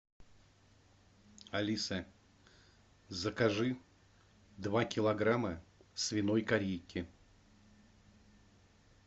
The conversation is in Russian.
алиса закажи два килограмма свиной корейки